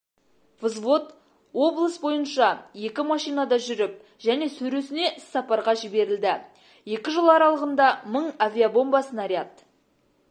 взвод облыс бойынша екі машинада жүріп және сөресіне іссапарға жіберілді екі жыл аралығында мың авиабомба снаряд